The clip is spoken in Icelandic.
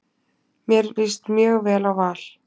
Mér líst mjög vel á Val.